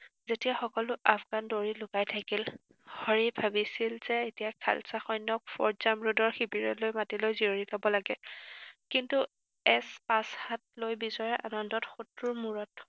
যেতিয়া সকলো আফগান দুৱৰী লুকাই থাকিল, হৰিয়ে ভাবিছিল যে এতিয়া খালছা সৈন্যক ফৰ্ড জামৰোডৰ শিবিৰলৈ মাতি লৈ জিৰণি লব লাগে। কিন্তু এছ পাঁচহাতলৈ বিজয়ৰ আনন্দত শত্ৰুৰ মূৰত